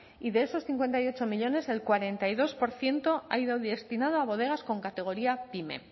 y de esos cincuenta y ocho millónes el cuarenta y dos por ciento ha ido destinado a bodegas con categoría pyme